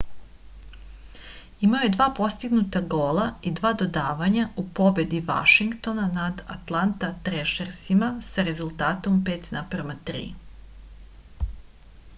imao je 2 postignuta gola i 2 dodavanja u pobedi vašingtona nad altanta trešersima sa rezultatom 5:3